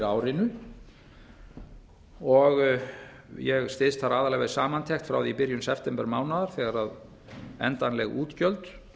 árinu ég styðst þar aðallega við samantekt frá því í byrjun septembermánaðar þegar endanleg útgjöld